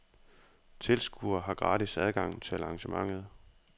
Tilskuere har gratis adgang til arrangementet.